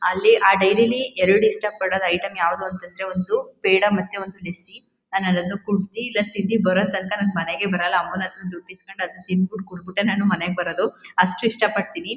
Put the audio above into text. ಅಲ್ಲಿ ಆ ಡೈರಿ ಅಲ್ಲಿ ಎರಡ್ ಇಷ್ಟ ಪಡೋ ಐಟಂ ಯಾವ್ದು ಅಂತಂದ್ರೆ ಒಂದು ಪೇಡ ಮತ್ತೆ ಪೆಪ್ಸಿ ನಾನ್ ಅದನ್ನ ಕುಡ್ದಿ ಇಲ್ಲ ತಿಂದಿ ಬರೋ ತಂಕ ನಾನ್ ಮನೆಗೆ ಬರಲ್ಲ ಅಮ್ಮನ್ ಹತ್ರ ದುಡ್ ಇಸ್ಕೊಂಡು ಅದನ್ ತಿಂಬಿತ್ ಕುಡ್ಬಿಟ್ ನಾನ್ ಮನೆಗ್ ಬರಡು ಅಷ್ಟ್ ಇಷ್ಟ ಪಡ್ತೀನಿ.